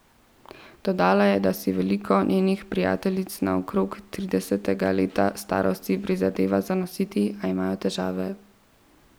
Dodala je, da si veliko njenih prijateljic okrog tridesetega leta starosti prizadeva zanositi, a imajo težave.